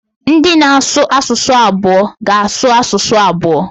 Ndị na-asụ asụsụ abụọ ga-asụ asụsụ abụọ.